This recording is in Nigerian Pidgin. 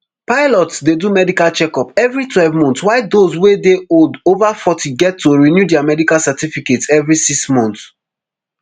pilots dey do medical checkup every twelve months while those wey dey old ova forty get to renew dia medical certificates every six months